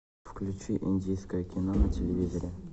включи индийское кино на телевизоре